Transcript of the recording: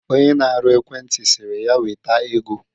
Onye na-arụ ekwenti sịrị ya weta ego